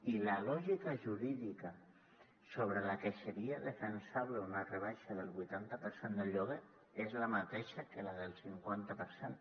i la lògica jurídica sobre la que seria defensable una rebaixa del vuitanta per cent del lloguer és la mateixa que la del cinquanta per cent